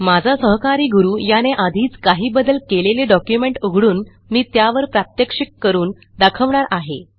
माझा सहकारी गुरू याने आधीच काही बदल केलेले डॉक्युमेंट उघडून मी त्यावर प्रात्यक्षिक करून दाखवणार आहे